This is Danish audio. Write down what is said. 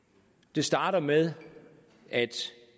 det starter med at